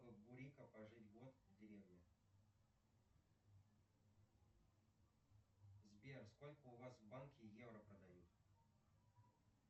бурико пожить год в деревне сбер сколько у вас в банке евро продают